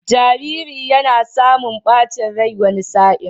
Jariri yana samun ɓacin rai wani sa'in.